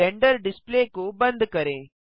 render display को बंद करें